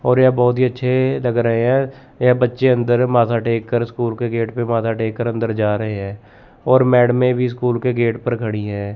और यह बहुत ही अच्छे लग रहे हैं यह बच्चे अंदर माथा टेक कर स्कूल के गेट पर माथा टेक कर अंदर जा रहे हैं और मैडमे भी स्कूल के गेट पर खड़ी हैं।